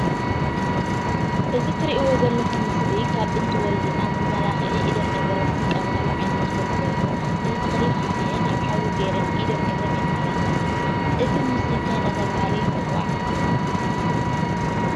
እዚ እትሪኢዎ ዘለኩም ምስሊ ካብ ጥንቲ ወለድና መመላክዒ ኢደን እግረን ዝጥቀማሉ ዓይነት ተክሊ ኮይኑ እዚ ተከሊ ፋሕፍሒን አብ ሓዊ ገይረን ኢደን እግረን የማላካዓ። እዚ ምስሊ እንታይ እናተባሀለ ይፅዋዕ?